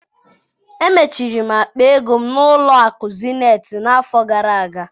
Emechiri m akpa ego m na-ụlọ akụ Zenetị n'afọ gara aga.